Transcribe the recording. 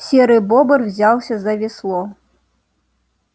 серый бобр взялся за весло